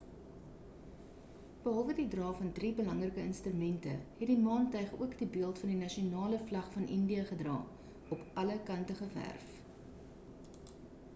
behalwe die dra van drie belangrike instrumente het die maantuig ook die beeld van die nasionale vlag van india gedra op alle kante geverf